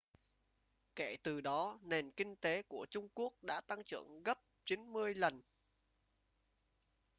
kể từ đó nền kinh tế của trung quốc đã tăng trưởng gấp 90 lần